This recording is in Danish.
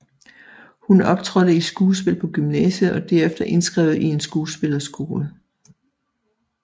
Hun optrådte i skuespil på gymnasiet og derefter indskrevet i en skuespilleskole